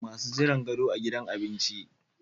Masu jiran gado Abinci a gidan abinci